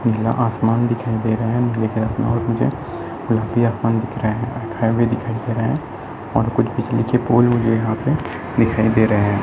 नीला आसमान दिखाई दे रहा है और कुछ कुछ नीचे पोल लगे हैं यहाँ पे दिखाई दे रहा हैं।